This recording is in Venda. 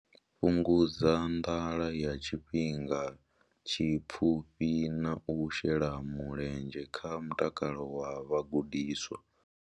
Fhungudza nḓala ya tshifhinga tshipfufhi na u shela mulenzhe kha mutakalo wa vhagudiswa.